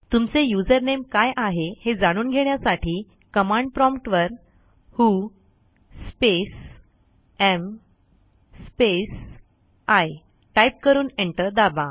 तुमचे युझरनेम काय आहे हे जाणून घेण्यासाठी कमांड प्रॉम्प्ट वर who space am space I type करून एंटर दाबा